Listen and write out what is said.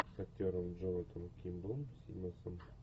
с актером джонатаном кимблом симмонсом